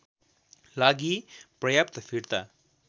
लागि पर्याप्त फिर्ता